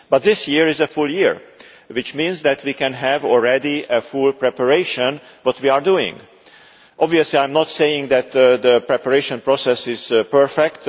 But this year is a full year, which means that we can already have full preparation, which we are doing. Obviously, I am not saying that the preparation process is perfect.